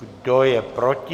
Kdo je proti?